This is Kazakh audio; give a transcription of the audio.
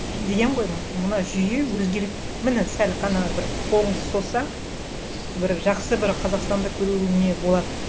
деген ғой мына жүйе өзгеріп міне сәл қана бір қолыңды созсаң бір жақсы бір қазақстанды көруіңе болады